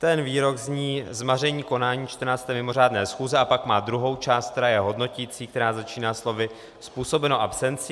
Ten výrok zní: "Zmaření konání 14. mimořádné schůze" a pak má druhou část, která je hodnoticí, která začíná slovy "způsobeno absencí".